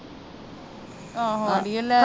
ਆਹੋ ਅੜੀਏ ਲੈਜਾ।